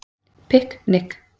Pikk Nikk